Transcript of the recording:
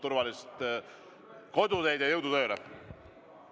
Turvalist koduteed ja jõudu tööle!